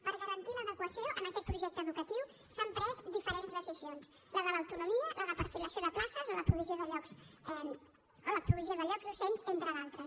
per garantir l’adequació en aquest projecte educatiu s’han pres diferents decisions la de l’autonomia la de perfilació de places o la provisió de llocs docents entre d’altres